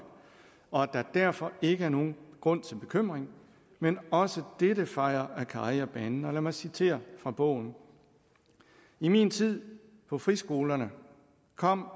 og at der derfor ikke er nogen grund til bekymring men også dette fejer akkari af banen lad mig citere fra bogen i min tid på friskolerne kom